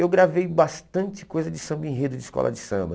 Eu gravei bastante coisa de samba-enredo de escola de samba.